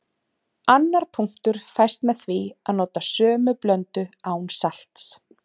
Annar punktur fæst með því að nota sömu blöndu án salts.